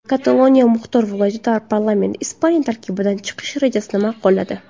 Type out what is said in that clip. Kataloniya muxtor viloyati parlamenti Ispaniya tarkibidan chiqish rejasini ma’qulladi.